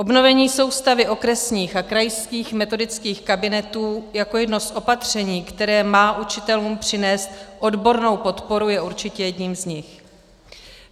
Obnovení soustavy okresních a krajských metodických kabinetů jako jedno z opatření, které má učitelům přinést odbornou podporu, je určitě jedním z nich.